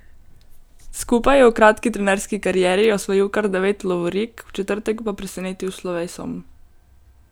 Skupaj je v kratki trenerski karieri osvojil kar devet lovorik, v četrtek pa presenetil s slovesom.